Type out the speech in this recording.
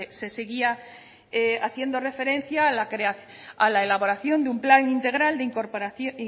se seguía haciendo referencia a la elaboración de un plan integral